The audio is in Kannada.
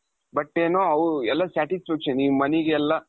but ಏನು ಎಲ್ಲಾ satisfaction ಈ moneyಗೆಲ್ಲ,